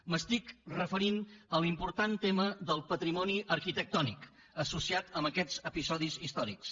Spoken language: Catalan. m’estic referint a l’important tema del patrimoni arquitectònic associat amb aquests episodis històrics